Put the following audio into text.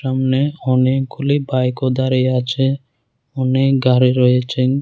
সামনে অনেকগুলি বাইকও দাঁড়িয়ে আছে অনেক গাড়ি রয়েছে।